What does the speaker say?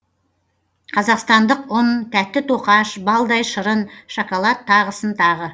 қазақстандық ұн тәтті тоқаш балдай шырын шоколад тағысын тағы